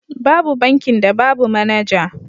Babu bankin da babu manaja.